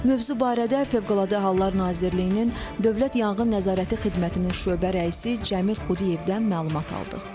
Mövzu barədə Fövqəladə Hallar Nazirliyinin Dövlət Yanğın Nəzarəti Xidmətinin şöbə rəisi Cəmil Xudiyevdən məlumat aldıq.